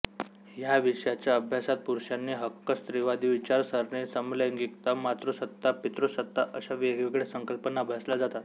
ह्या विषयाच्या अभ्यासात पुरुषांचे हक्क स्त्रीवादी विचारसरणी समलैंगिकता मातृसत्ता पितृसत्ता अश्या वेगवेगळ्या संकल्पना अभ्यासल्या जातात